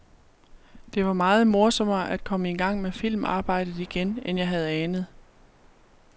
Det var meget morsommere at komme i gang med filmarbejdet igen, end jeg havde anet.